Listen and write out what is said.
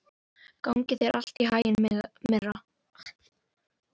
Gangi þér allt í haginn, Myrra.